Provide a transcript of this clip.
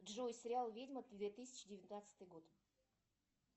джой сериал ведьма две тысячи девятнадцатый год